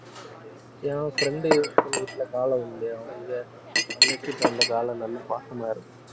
என் friend உ ஒருத்தன் வீட்டுல காளை வந்து அவுங்க தங்கச்சிகிட்ட அந்த காளை நல்லா பாசமா இருக்கும்